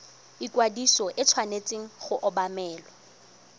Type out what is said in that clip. ikwadiso e tshwanetse go obamelwa